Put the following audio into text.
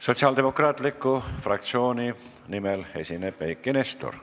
Sotsiaaldemokraatliku Erakonna fraktsiooni nimel esineb Eiki Nestor.